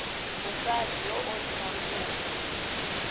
mosadi yo o dirang kopo